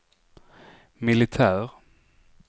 militär